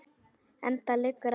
Enda liggur ekkert á.